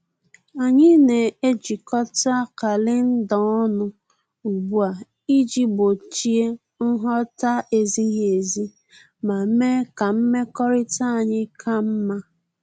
Anyị na-ejikota kalenda ọnụ ugbu a iji gbochie nghọta-ezighi ezi ma mee ka mmekọrịta anyị ka mma